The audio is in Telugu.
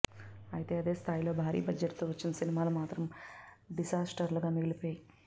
అయితే అదే స్తాయిలో భారి బడ్జెట్ తో వచ్చిన సినిమాలు మాత్రం డిసాస్టర్లుగా మిగిలిపోయాయి